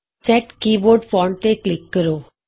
set keyboard font ਤੇ click ਕਰੋ